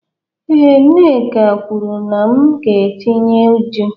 Ee, Nneka kwuru na m ga-etinye eju